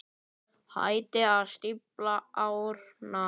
Hættið að stífla árnar.